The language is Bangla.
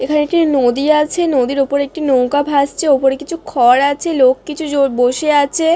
এখানে একটি নদী আছে। নদীর উপর একটি নৌকা ভাসছে। উপরে কিছু খড় আছে। লোক কিছু জো বসে আছে।